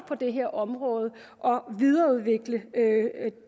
på det her område og videreudvikle